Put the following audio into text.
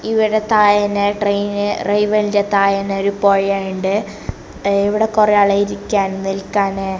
ഇവിട തായേനു train rail വേൻ്റെ തയേന്നൊരു പൊഴ എണ്ട് എ ഇവിടെ കൊറേ ആള് ഇരിക്കാന് നിക്കാന്.